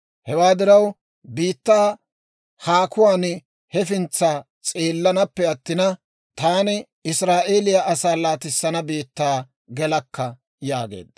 Hewaa diraw, biittaa haakuwaan hefintsa s'eellanaappe attina, taani Israa'eeliyaa asaa laatissana biittaa gelakka» yaageedda.